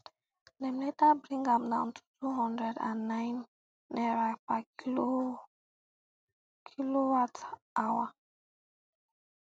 dem later bring am down to two hundred and nine naira per kilowatthour